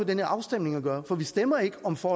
den her afstemning at gøre for vi stemmer ikke om for